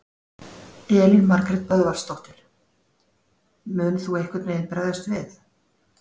Elín Margrét Böðvarsdóttir: Mun þú einhvern veginn bregðast við?